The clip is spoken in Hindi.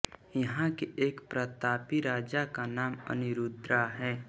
यहां के एक प्रतापी राजा का नाम अनिरुद्ध है